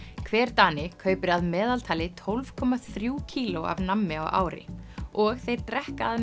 hver Dani kaupir að meðaltali tólf komma þrjú kíló af nammi á ári og þeir drekka að